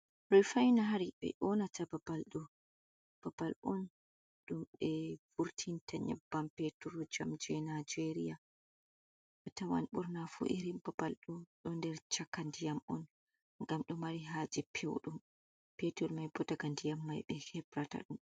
Refainari ɓe ƴoonata babal do'o, babal on ɗum ɓe vurtinta nyabban peetur jam jey nageerya a tawan ɓurna fuu irin babal ɗo'o nder chaka ndiyam on, ngam ɗo mari haaje pewɗum, peetur mai boo daga ndiyam mai ɓe hebrata ɗum.